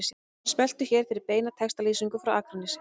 Smelltu hér fyrir beina textalýsingu frá Akranesi